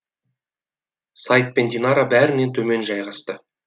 сайд пен динара бәрінен төмен жайғасты